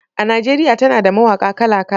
A Najeriya tana da mawaƙa kala-kala.